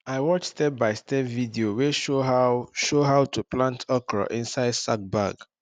i watch stepbystep video wey show how show how to plant okra inside sack bag